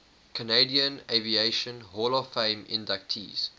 canadian aviation hall of fame inductees